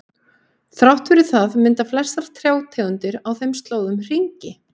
Þrátt fyrir það mynda flestar trjátegundir á þeim slóðum hringi.